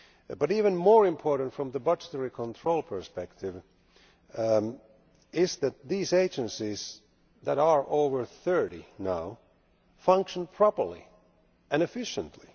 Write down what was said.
But even more important, from the budgetary control perspective, is that these agencies, which now number over thirty, function properly and efficiently.